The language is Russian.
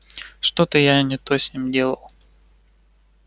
что-то я не то с ним делал